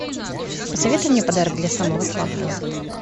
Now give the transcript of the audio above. посоветуй мне подарок для самого слабого